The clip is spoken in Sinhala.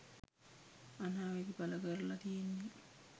අනාවැකි පල කරල තියෙන්නේ.